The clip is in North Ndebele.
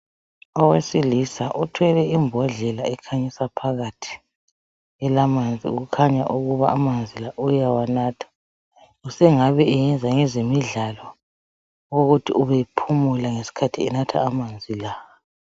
Owesilisa othwele imbodlela ekhanyisa phakathi ilamanzi kukhanya ukuba amanzi la uyawanatha sengabe eyenza ngezemidlalo ukuthi ubephumula ngesikhathi enatha amanzi la.